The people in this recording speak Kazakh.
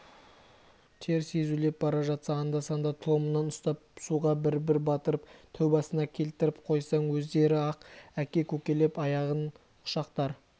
теріс езулеп бара жатса анда-санда тұлымынан ұстап суға бір-бір батырып тәубасына келтіріп қойсаң өздері-ақ әке-көкелеп аяғын құшақтар